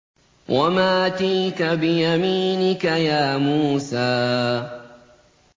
وَمَا تِلْكَ بِيَمِينِكَ يَا مُوسَىٰ